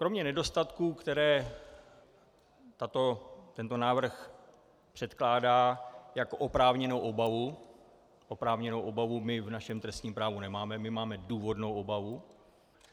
Kromě nedostatků, které tento návrh předkládá jako oprávněnou obavu - oprávněnou obavu my v našem trestním právu nemáme, my máme důvodnou obavu.